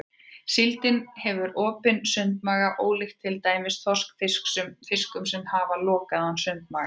Síldin hefur opinn sundmaga ólíkt til dæmis þorskfiskum sem hafa lokaðan sundmaga.